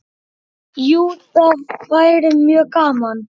Jú, það væri mjög gaman.